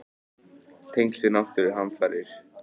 Tengsl við náttúruhamfarir?